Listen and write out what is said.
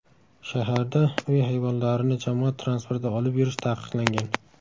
Shaharda uy hayvonlarini jamoat transportida olib yurish taqiqlangan.